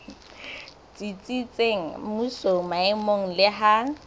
tsitsitseng mmusong maemong le ha